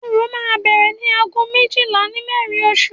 Orò máa bẹ̀rẹ̀ ní aago méjìlá sí mẹ́rin òru